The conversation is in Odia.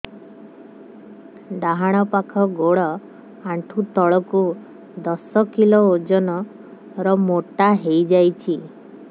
ଡାହାଣ ପାଖ ଗୋଡ଼ ଆଣ୍ଠୁ ତଳକୁ ଦଶ କିଲ ଓଜନ ର ମୋଟା ହେଇଯାଇଛି